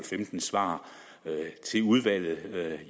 femten svar til udvalget